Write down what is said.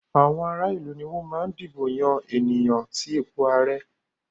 Àwọn ará ìlú ni wọ́n máa ń dìbò yan ènìyàn sí ipò ààrẹ.